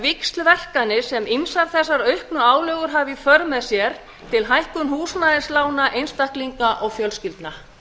víxlverkanir sem ýmsar þessar auknu álögur hafa í för með sér til hækkunar húsnæðislána einstaklinga og fjölskyldna